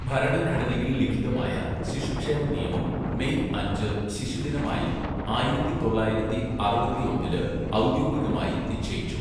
ഭരണഘടനയിൽ ലിഖിതമായ ശിശുക്ഷേമ നിയമം മെയ് അഞ്ച് ശിശുദിനമായി ആയിരത്തി തൊള്ളായിരത്തി അറുപത്തിയൊന്നില് ഔദ്യോഗികമായി നിശ്ചയിച്ചു.